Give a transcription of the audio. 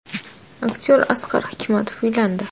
Aktyor Asqar Hikmatov uylandi.